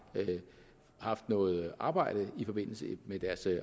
haft noget arbejde i forbindelse med deres